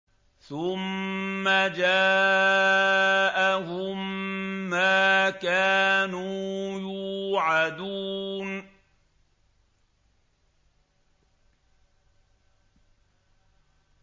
ثُمَّ جَاءَهُم مَّا كَانُوا يُوعَدُونَ